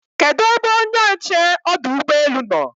kedu ebe onye nche ọdụ ụgbọ elu nọ?